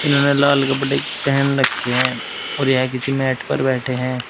इन्होंने लाल कपड़े पहन रखे हैं और यह किसी मैट पर बैठे हैं।